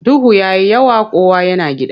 Duhu ya yi yawa kowa yana gida.